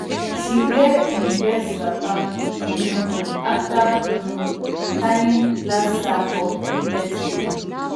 she wear im best wrapper um after um tying last sack of millet grain